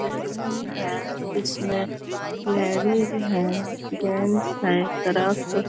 Balloon है इसमें ladies है जेंट्स है एक तरफ।